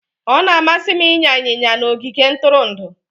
Ọ na-amasị m ịnya ịnyịnya na ogige ntụrụndụ